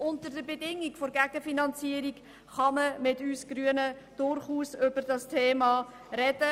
Unter der Bedingung der Gegenfinanzierung kann man mit uns Grünen durchaus über dieses Thema reden.